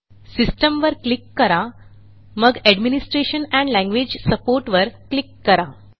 Systemवर click करा मग administration and language support वर क्लिक करा